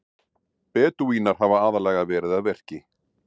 Bedúínar hafa aðallega verið að verki.